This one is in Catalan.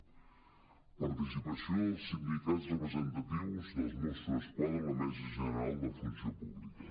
participació dels sindicats representatius dels mossos d’esquadra en la mesa ge·neral de la funció pública